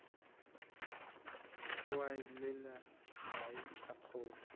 a olela mae a kgogo